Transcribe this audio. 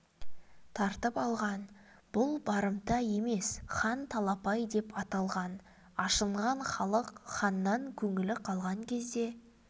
тартып алған бұл барымта емес хан талапай деп аталған ашынған халық ханнан көңілі қалған кезде